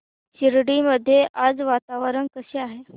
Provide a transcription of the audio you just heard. शिर्डी मध्ये आज वातावरण कसे आहे